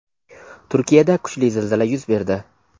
Turkiyada kuchli zilzila yuz berdi.